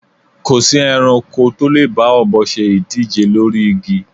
Kò sí ẹranko tó lè bá ọ̀bọ se ìdíje lórí igi